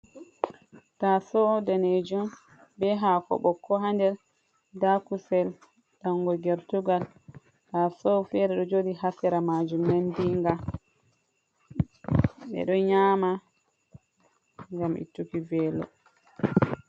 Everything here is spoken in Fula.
Tasou danejum be hako ɓokko ha nder da kusel dango gertugal tasou fere ɗo joɗi ha sera majum nandinga be ɗo nyama gam ettuki velo.